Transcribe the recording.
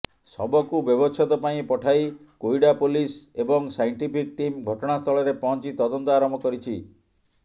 ଶବକୁ ବ୍ୟବଚ୍ଛେଦ ପାଇଁ ପଠାଇ କୋଇଡା ପୋଲିସ ଏବଂ ସାଇଂଟିଫିକ ଟିମ ଘଟଣାସ୍ଥଳରେ ପହଂଚି ତଦନ୍ତ ଆରମ୍ଭ କରିଛି